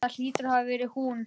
Það hlýtur að hafa verið hún.